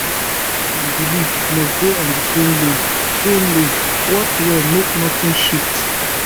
just dey follow body signs like clock na that one go save you money and drama